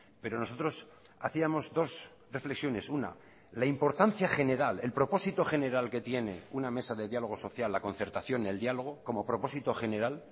pero nosotros hacíamos dos reflexiones una la importancia general el propósito general que tiene una mesa de diálogo social la concertación el diálogo como propósito general